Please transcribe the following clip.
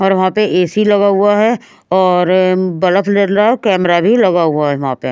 और वहाँ पे ए_ सी_ लगा हुआ है और बल्फ जल रहा कैमरा भी लगा हुआ है वहाँ पे।